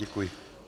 Děkuji.